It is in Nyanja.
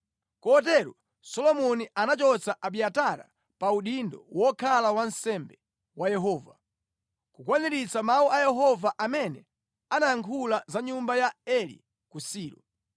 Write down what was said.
Kotero Solomoni anachotsa Abiatara pa udindo wokhala wansembe wa Yehova, kukwaniritsa mawu a Yehova amene anayankhula za nyumba ya Eli ku Silo.